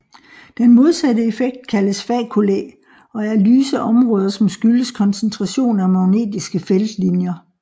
Den modsatte effekt kaldes faculae og er lyse områder som skyldes koncentration af magnetiske feltlinjer